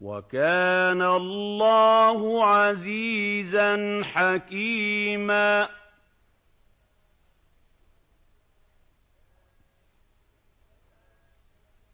وَكَانَ اللَّهُ عَزِيزًا حَكِيمًا